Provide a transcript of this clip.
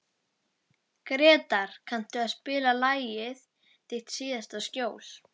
Gretar, kanntu að spila lagið „Þitt síðasta skjól“?